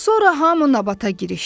Sonra hamı nabata girişdi.